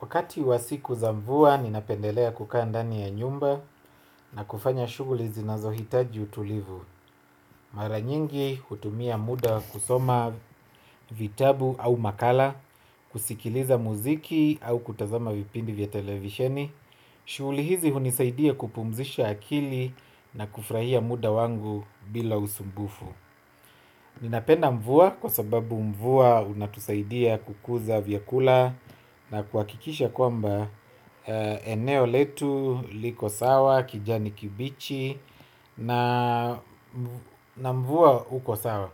Wakati wa siku za mvua, ninapendelea kukaa ndani ya nyumba na kufanya shughuli zinazohitaji utulivu. Mara nyingi hutumia muda kusoma vitabu au makala, kusikiliza muziki au kutazama vipindi vya televisheni. Shughuli hizi hunisaidia kupumzisha akili na kufurahia muda wangu bila usumbufu. Ninapenda mvua kwa sababu mvua unatusaidia kukuza vyakula na kuhakikisha kwamba eneo letu, liko sawa, kijani kibichi na mvua uko sawa.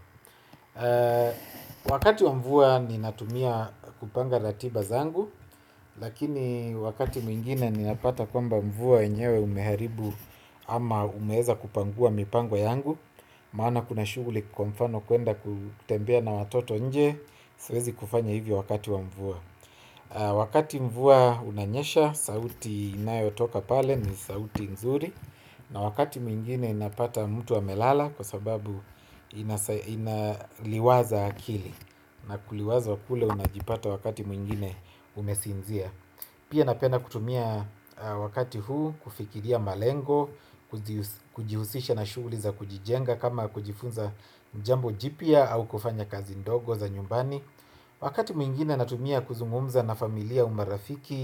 Wakati wa mvua ninatumia kupanga ratiba zangu. Lakini wakati mwingine ninapata kwamba mvua enyewe umeharibu ama umeweza kupangua mipango yangu. Maana kuna shughuli kwa mfano kuenda kutembea na watoto nje. Siwezi kufanya hivyo wakati wa mvua. Wakati mvua unanyesha, sauti inayotoka pale ni sauti nzuri. Na wakati mwingine inapata mtu amelala kwa sababu inaliwaza akili. Na kuliwazwa kule unajipata wakati mwingine umesinzia. Pia napenda kutumia wakati huu kufikiria malengo. Kujihusisha na shughuli za kujijenga kama kujifunza jambo jipya au kufanya kazi ndogo za nyumbani. Wakati mwingine natumia kuzungumza na familia au marafiki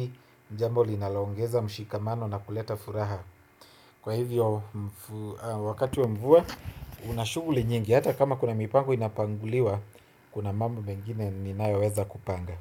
ni jambo linalo ongeza mshikamano na kuleta furaha. Kwa hivyo wakati wa mvua una shughuli nyingi. Hata kama kuna mipango inapanguliwa kuna mambo mengine ninayoweza kupanga.